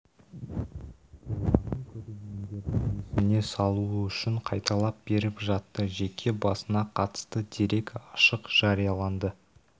болғанын көрермендердің есіне салуы үшін қайталап беріп жатты жеке басына қатысты дерек ашық жарияланды